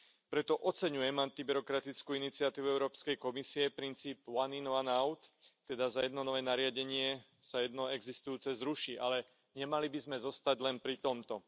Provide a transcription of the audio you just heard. Preto oceňujem antibyrokratickú iniciatívu Európskej komisie, princípu one in, one out, teda za jedno nové nariadenie sa jedno existujúce ruší, ale nemali by sme zostať len pri tomto.